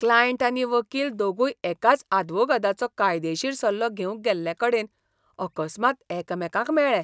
Client आनी वकील दोगूय एकाच आदवोगादाचो कायदेशीर सल्लो घेवंक गेल्लेकडेन अकस्मात एकामेकांक मेळ्ळे.